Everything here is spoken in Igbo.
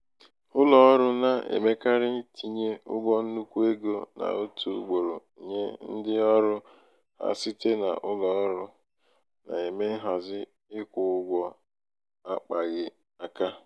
ụlọ ọrụ na-emekarị itinye ụgwọ nnukwu ego n'otu ugboro nye ndị ọrụ ha site na ụlọ ọrụ um na-eme nhazi ịkwụ ụgwọ akpaghị um aka.